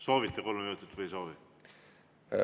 Soovite kolme minutit või ei soovi?